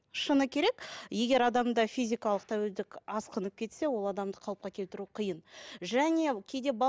шыны керек егер адамда физикалық тәуелділік асқынып кетсе ол адамды қалыпқа келтіру қиын және кейде